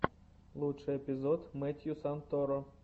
лучший эпизод мэттью санторо